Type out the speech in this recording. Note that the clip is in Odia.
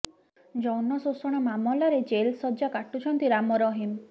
ଯୌନ ଶୋଷଣ ମାମଲାରେ ଜେଲ୍ ସଜ୍ଜା କାଟୁଛନ୍ତି ରାମ ରହିମ